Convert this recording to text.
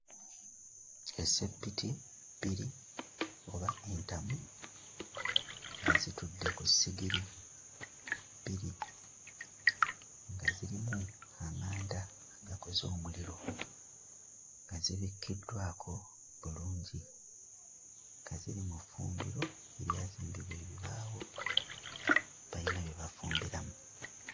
Essepiti bbiri oba entamu nga zitudde ku ssigiri bbiri nga zirimu amanda agakoze omuliro nga zibikiddwako bulungi nga ziri mu ffumbiro eryazimbibwa ebibaawo bayina bye bafumbiramu.